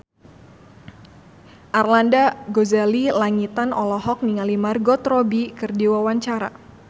Arlanda Ghazali Langitan olohok ningali Margot Robbie keur diwawancara